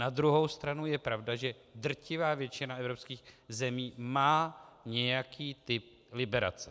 Na druhou stranu je pravda, že drtivá většina evropských zemí má nějaký typ liberace.